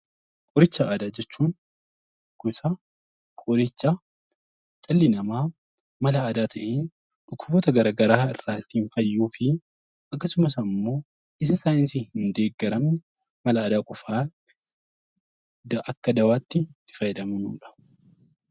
Qoricha aadaa jechuun gosa qorichaa dhalli namaa mala aadaa ta'een dhukkuboota garaagaraa ittiin fayyuuf akkasumas immoo bifa saayinsiin deeggaramuun bifa saayinsiin qofaa Akka dawaatti itti fayyadamnudha